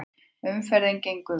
Umferðin gengur vel